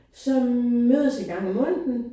Som mødes en gang om måneden